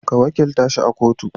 Ka wakilta shi a kotu